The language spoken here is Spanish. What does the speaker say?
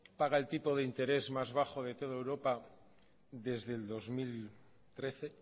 paga el tipo de interés más bajo de toda europa desde el dos mil trece